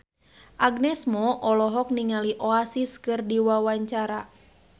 Agnes Mo olohok ningali Oasis keur diwawancara